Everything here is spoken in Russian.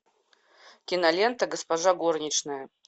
кинолента госпожа горничная